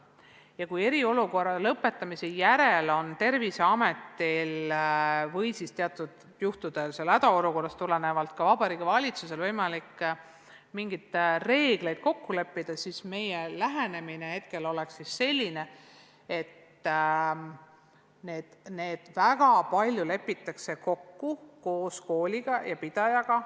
Ja kui eriolukorra lõpetamise järel on Terviseametil või hädaolukorrast tulenevalt teatud juhtudel ka Vabariigi Valitsusel võimalik mingeid reegleid kokku leppida, siis meie lähenemine on praegu selline, et väga paljus lepitakse need kokku kooli ja selle pidajaga.